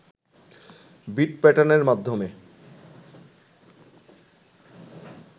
bit প্যাটার্নের মাধ্যমে